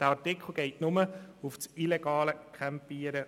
Der Artikel bezieht sich nur auf das illegale Campieren.